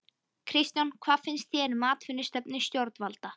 Kristján: Hvað finnst þér um atvinnustefnu stjórnvalda?